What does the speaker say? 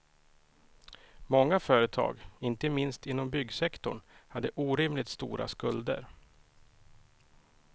Många företag, inte minst inom byggsektorn, hade orimligt stora skulder.